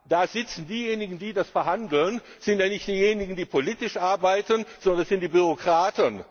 Da sitzen diejenigen, die das verhandeln, das sind ja nicht diejenigen, die politisch arbeiten, sondern das sind Bürokraten.